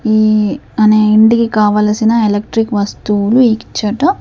అనే ఇంటికి కావలసిన ఎలక్ట్రిక్ వస్తువులు ఇచ్చట--